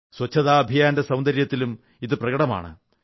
സ്വച്ഛതാ അഭിയാന്റെ സൌന്ദര്യത്തിലും ഇത് പ്രകടമാണ്